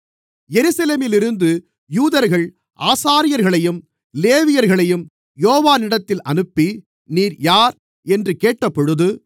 எருசலேமிலிருந்து யூதர்கள் ஆசாரியர்களையும் லேவியர்களையும் யோவானிடத்தில் அனுப்பி நீர் யார் என்று கேட்டபொழுது